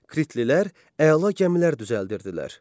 Kritlilər əla gəmilər düzəldirdilər.